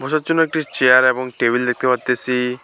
বসার জন্য একটি চেয়ার এবং টেবিল দেখতে পারতেসি।